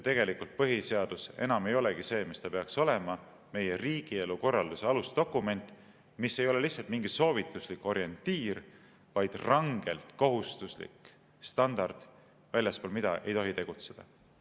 Tegelikult põhiseadus enam ei olegi see, mis ta peaks olema – meie riigielu korralduse alusdokument, mis ei ole lihtsalt mingi soovituslik orientiir, vaid rangelt kohustuslik standard, väljaspool mida ei tohi tegutseda.